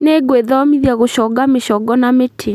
Nĩngwĩthomithia gũconga mĩcongo na mĩtĩ